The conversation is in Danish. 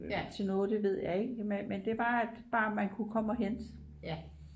til noget det ved jeg ikke men det var bare at man kunne komme og hente